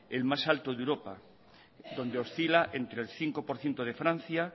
el más alto de europa donde oscila entre el cinco por ciento de francia